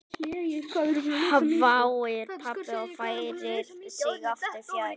hváir pabbi og færir sig aftur fjær.